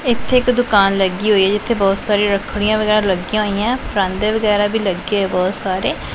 ਇੱਥੇ ਇੱਕ ਦੁਕਾਨ ਲੱਗੀ ਹੋਈ ਹੈ ਜਿੱਥੇ ਬਹੁਤ ਸਾਰੀ ਰੱਖਦੀਆਂ ਵਗੈਰਾ ਲੱਗੀਆਂ ਹੋਈਆਂ ਹੈਂ ਪਰਾਂਦੇ ਵਗੈਰਾ ਵੀ ਲੱਗੇ ਹੋਏ ਬਹੁਤ ਸਾਰੇ।